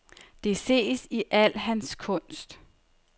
Det ses i al hans kunst.